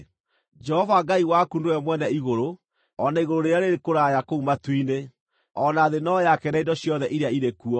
Jehova Ngai waku nĩwe mwene igũrũ, o na igũrũ rĩrĩa rĩrĩ kũraya kũu matu-inĩ, o na thĩ no yake na indo ciothe iria irĩ kuo.